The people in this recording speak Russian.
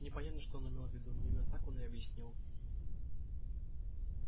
непонятно что он имел в виду но именно так он объяснил